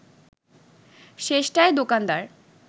শেষটায় দোকানদার